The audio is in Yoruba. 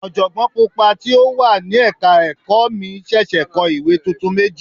Ọ̀jọ̀gbọ́n Pupa tí ó wà ní ẹ̀ka ẹ̀kọ́ mi ṣẹ̀ṣẹ̀ kọ ìwé tuntun méjì.